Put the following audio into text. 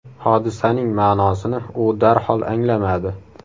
Hodisaning ma’nosini u darhol anglamadi.